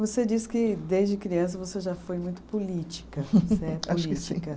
Você disse que desde criança você já foi muito política. Acho que sim